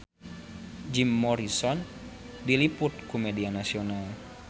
Jim Morrison diliput ku media nasional